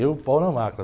Eu, pau na máquina.